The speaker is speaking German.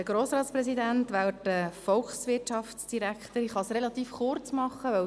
Ich kann es relativ kurz machen.